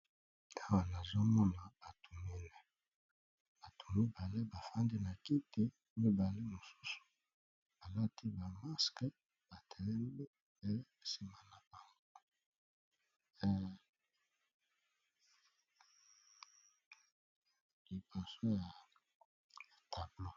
Awa na zomona bato mine bato mibale bafandi na kiti mibale mosusu balati ba maske batelemi pe nsima na bango liboso ya tablo.